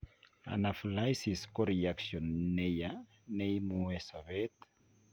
Anaphylaxis ko reactionit neyaa neimuee sobeet